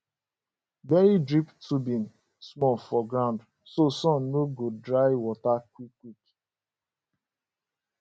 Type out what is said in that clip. bury drip tubing small for ground so sun no go dry water quick quick